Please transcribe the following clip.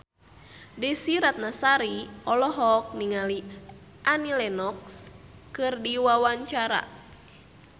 Desy Ratnasari olohok ningali Annie Lenox keur diwawancara